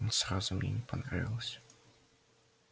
он сразу мне не понравился